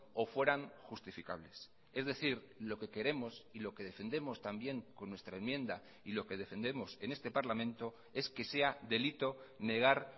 o fueran justificables es decir lo que queremos y lo que defendemos también con nuestra enmienda y lo que defendemos en este parlamento es que sea delito negar